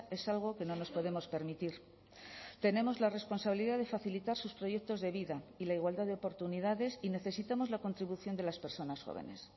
es algo que no nos podemos permitir tenemos la responsabilidad de facilitar sus proyectos de vida y la igualdad de oportunidades y necesitamos la contribución de las personas jóvenes